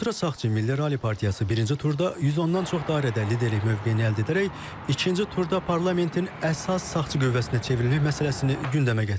Ultra sağçı Milli Ralli partiyası birinci turda 110-dan çox dairədə liderlik mövqeyini əldə edərək, ikinci turda parlamentin əsas sağçı qüvvəsinə çevrilməsi məsələsini gündəmə gətirib.